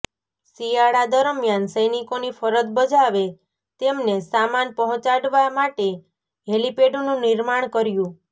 શિયાળા દરમિયાન સૈનિકોની ફરજ બજાવે તેમને સામાન પહોંચાડવા માટે હેલિપેડનું નિર્માણ કર્યું